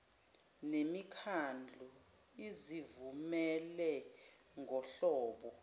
nemikhandlu izivumele ngohlobo